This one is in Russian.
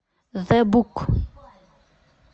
зэ бук